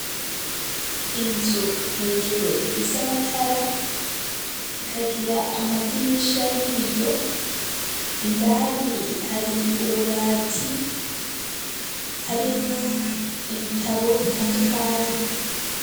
Inzu, hejuru ifise amatara, ikagira amadirisha y'ibiyo; indani hari ububati, harimwo ibitabo, bitandukanye.